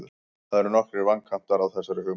Það eru nokkrir vankantar á þessari hugmynd.